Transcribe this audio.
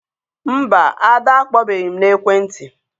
Mba, Ada akpọbeghị m n'ekwentị.